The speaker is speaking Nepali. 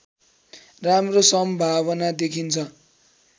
राम्रो सम्भावना देखिन्छ